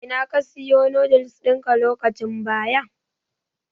A ina ka Siya noodles ɗinka lokacin baya.